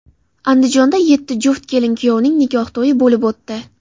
Andijonda yetti juft kelin-kuyovning nikoh to‘yi bo‘lib o‘tdi.